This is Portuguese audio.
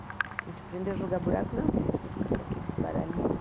A gente aprendeu a jogar buraco na rua, assim, com aqueles baralhinhos.